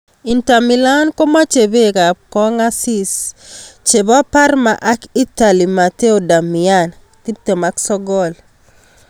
(Evening Standard) Inter Milan komache Beki ab kongasis ab Parma ak Itali Matteo Darmian, 29.